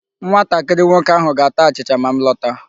Nwatakịrị nwoke ahụ ga-ata achịcha ma m lọta.